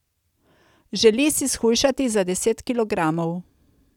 Želi si shujšati za deset kilogramov.